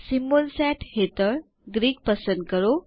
symbol set હેઠળ Greek પસંદ કરો